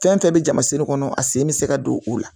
Fɛn fɛn bɛ jama sen kɔnɔ a sen bɛ se ka don o la